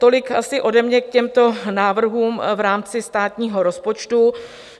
Tolik asi ode mě k těmto návrhům v rámci státního rozpočtu.